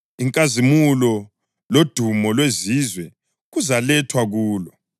Inkazimulo lodumo lwezizwe kuzalethwa kulo.